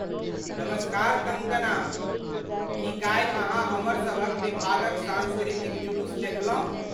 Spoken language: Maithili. नमस्कार कंगकना! की काल्हि अहाँ हमरसभक विभागक सांस्कृतिक जुलूस देखलहुँ?